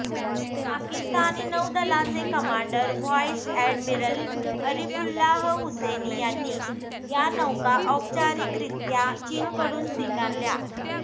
पाकिस्तानी नौदलाचे commander vice admiral Arifullah Hussaini यांनी या नौका औपचारिकरित्या चीनकडून स्वीकारल्या